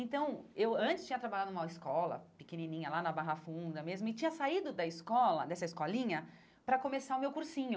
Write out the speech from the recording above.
Então, eu antes tinha trabalhado numa escola pequenininha, lá na Barra Funda mesmo, e tinha saído da escola dessa escolinha para começar o meu cursinho.